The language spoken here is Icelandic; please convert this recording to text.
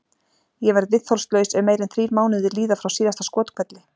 Ég verð viðþolslaus ef meira en þrír mánuðir líða frá síðasta skothvelli.